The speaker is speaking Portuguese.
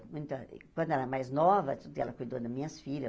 Quando ela era mais nova, tudo ela cuidou das minhas filhas.